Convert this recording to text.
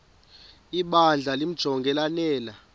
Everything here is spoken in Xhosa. ibandla limjonge lanele